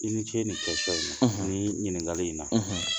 I ni ce ni kɛsiɔn in na , nin ɲininkaka in na..